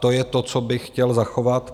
To je to, co bych chtěl zachovat.